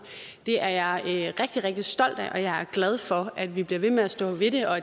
det er jeg rigtig rigtig stolt af og jeg er glad for at vi bliver ved med at stå ved det og